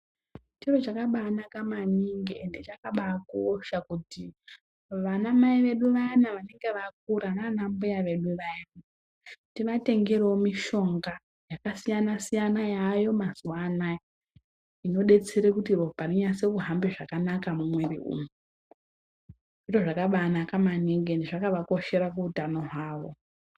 Chiro chakabaanaka maningi ende chakabaakosha kuti, vanamai vedu vayana vanenge vakura naanambuya vaya, tivatengerewo mishonga, yakasiyana- siyana yaayo mazuwa anaya, inodetsere kuti ropa rinyatsekuhamba zvakanaka mumwiri umu. Zviro zvakabaanaka maningi endi zvakavakoshera kuutano hwavo.